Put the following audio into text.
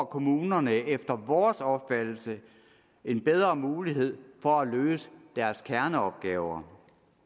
kommunerne efter vores opfattelse en bedre mulighed for at løse deres kerneopgaver